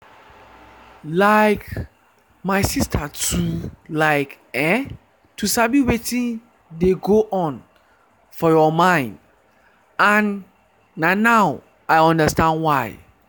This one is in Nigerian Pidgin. like my sister too like[um]to sabi wetin dey go on for your mind and na now i understand why.